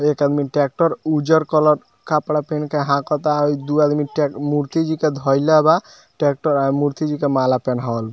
एक आदमी ट्रेक्टर उज्जर कलर के कपडा पहन के हाकता अ इ दू आदमी मूर्ति जी के धइले बा ट्रेक्टर और मूर्ति जी के माला पहनावल --